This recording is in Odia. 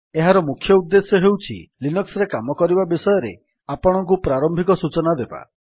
ଏହାର ମୁଖ୍ୟ ଉଦ୍ଦେଶ୍ୟ ହେଉଛି ଲିନକ୍ସ୍ ରେ କାମ କରିବା ବିଷୟରେ ଆପଣଙ୍କୁ ପ୍ରାରମ୍ଭିକ ସୂଚନା ଦେବା